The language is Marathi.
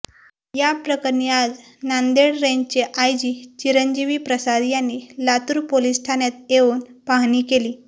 या प्रकरणी आज नांदेड रेंजचे आयजी चिरंजीवी प्रसाद यांनी लातूर पोलीस ठाण्यात येऊन पाहणी केली